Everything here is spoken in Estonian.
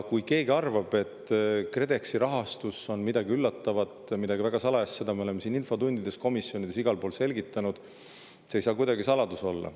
Keegi ehk arvab, et KredExi rahastus on midagi üllatavat, midagi väga salajast, aga seda me oleme siin infotundides, komisjonides igal pool selgitanud, see ei saanud kuidagi saladus olla.